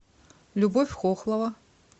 любовь хохлова